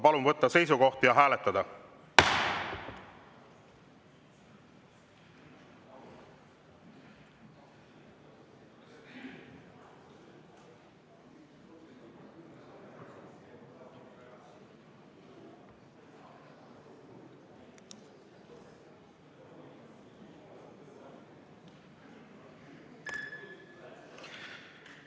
Palun võtta seisukoht ja hääletada!